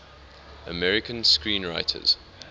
american screenwriters